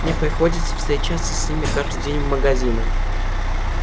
мне приходится встречаться с ними каждый день в магазинах